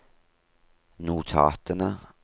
notatene